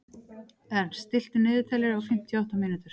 Ernst, stilltu niðurteljara á fimmtíu og átta mínútur.